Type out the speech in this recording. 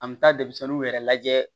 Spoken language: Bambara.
An bɛ taa denmisɛnninw yɛrɛ lajɛ